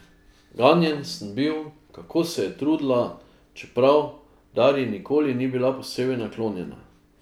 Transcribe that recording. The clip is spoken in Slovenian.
Ganjen sem bil, kako se je trudila, čeprav Darji nikoli ni bila posebej naklonjena.